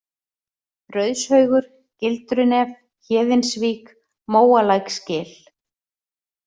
Rauðshaugur, Gildrunef, Héðinsvík, Móalæksgil